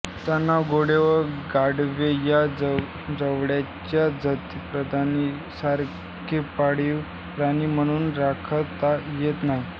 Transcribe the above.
त्यांना घोडे व गाढवे या जवळच्या जातिबांधवांसारखे पाळीव प्राणी म्हणून राखता येत नाही